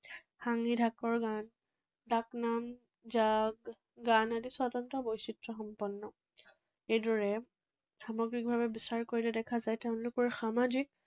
গান, গান আদি স্বতন্ত্ৰ বৈশিষ্ট্যসম্পন্ন। এইদৰে সামগ্ৰিকভাৱে বিচাৰ কৰিলে দেখা যায় তেওঁলোকৰ সামাজিক